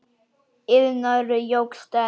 Iðnaður jókst enn.